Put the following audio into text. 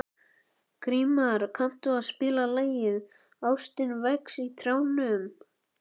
Grímar, kanntu að spila lagið „Ástin vex á trjánum“?